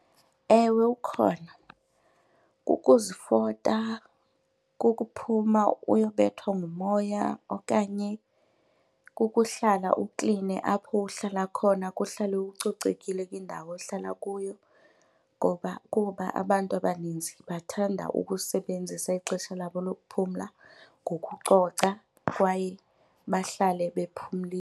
Ewe, ukhona. Kukuzifota kukuphuma uyobethwa ngumoya okanye kukuhlala ukline apho uhlala khona kuhlale kucocekile kwindawo ohlala kuyo ngoba kuba abantu abaninzi bathanda ukusebenzisa ixesha labo lokuphumla ngokucoca kwaye bahlale .